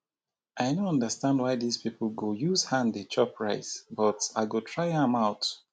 i no understand why dis people go use hand dey chop rice but i go try am out